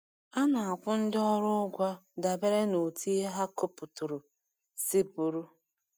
A na-akwụ ndị ọrụ ụgwọ dabere n’otú ihe ha kụpụturu si bụrụ.